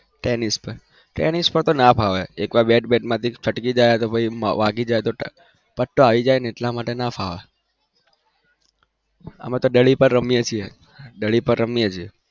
Tennis પર, tennis પર ના ફાવે એક વાર બેટ માથી છટકી જાય તો પછી વાગી જાય તો પટ્ટો આવી જાય ને એટલા માટે ના ફાવે. અમે તો દડી પર રમીએ છીએ, દડી પર